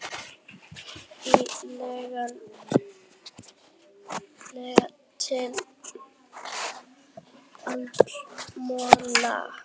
Í lengsta lagi til áramóta.